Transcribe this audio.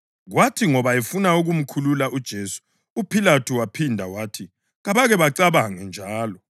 Kwathi ngoba efuna ukumkhulula uJesu, uPhilathu waphinda wathi kabake bacabange njalo.